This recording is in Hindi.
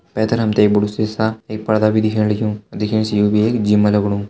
पैथर हमते बडु सीसा एक पर्दा भी दिखेण लग्युं दिखेण से भी यो एक जीम लगणु।